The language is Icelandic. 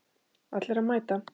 Allir að mæta!